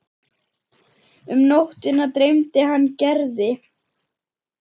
Um nóttina dreymdi hann Gerði.